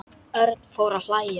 Örn fór að hlæja.